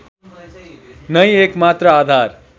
नै एकमात्र आधार